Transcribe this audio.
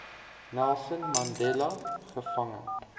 nelson mandela gevange